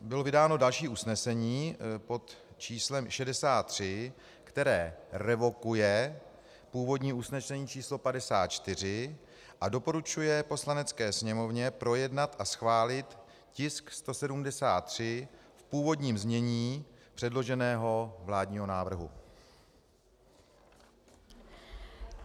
Bylo vydáno další usnesení, pod číslem 63, které revokuje původní usnesení číslo 54 a doporučuje Poslanecké sněmovně projednat a schválit tisk 173 v původním změní předloženého vládního návrhu.